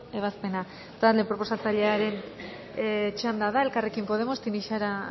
ebazpena talde proposatzailearen txanda da elkarrekin podemos tinixara